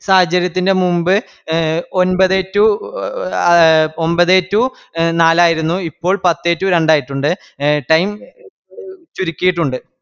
സാഹചര്യത്തിന്റെമുമ്പ് ഒൻപതേ to അ ഒമ്പതേ to നാലായിരുന്നു ഇപ്പോൾ പത്തേ to രണ്ടായിട്ടുണ്ട്‌ time ചുരുക്കിയിട്ടുണ്ട്